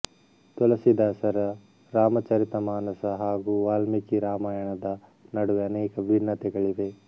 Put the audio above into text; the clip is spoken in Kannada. ತುಲಸಿದಾಸರ ರಾಮಚರಿತಮಾನಸ ಹಾಗೂ ವಾಲ್ಮೀಕಿ ರಾಮಾಯಣದ ನಡುವೆ ಅನೇಕ ಭಿನ್ನತೆಗಳಿವೆ